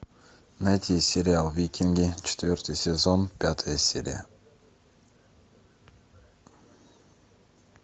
найти сериал викинги четвертый сезон пятая серия